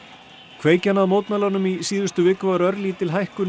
kveikjan að mótmælunum í síðustu viku var örlítil hækkun